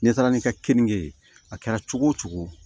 N'i taara n'i ka keninke ye a kɛra cogo o cogo